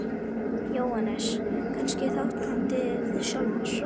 Jóhannes: Kannski þátttakandi sjálfur?